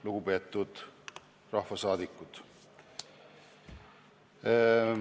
Lugupeetud rahvasaadikud!